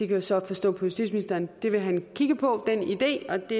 kan så forstå på justitsministeren at han vil kigge på den idé og det